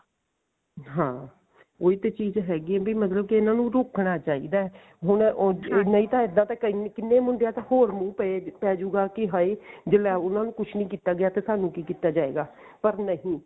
ਹਾਂ ਉਹੀ ਤੇ ਚੀਜ਼ ਹੈਗੀ ਹੈ ਵੀ ਮਤਲਬ ਕਿ ਇਹਨਾ ਨੂੰ ਰੋਕਣਾ ਚਾਹੀਦਾ ਹੁਣ ਨਹੀਂ ਤਾਂ ਇੱਦਾਂ ਤਾਂ ਕਿੰਨੇ ਹੋਰ ਮੁੰਡਿਆਂ ਦਾ ਪੈ ਪੈਜੁਗਾ ਕਿ ਹਾਏ ਲਈ ਉਹਨਾ ਨੂੰ ਕੁੱਝ ਨੀ ਕੀਤਾ ਗਿਆ ਤੇ ਸਾਨੂੰ ਕੀ ਕੀਤਾ ਜਾਇਗਾ ਪਰ ਨਹੀਂ